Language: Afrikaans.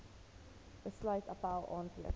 besluit appèl aanteken